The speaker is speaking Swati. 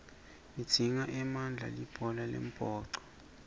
lidzinga emandla libhola lembhoco